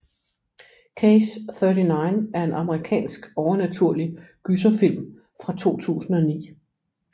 Case 39 er en amerikansk overnaturlig gyserfilm fra 2009